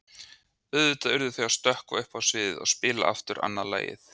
Auðvitað urðu þau að stökkva upp á sviðið og spila aftur annað lagið.